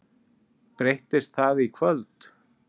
Breytist það í kvöld?